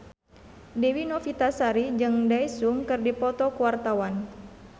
Dewi Novitasari jeung Daesung keur dipoto ku wartawan